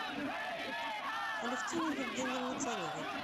алевтине евгеньевне царевой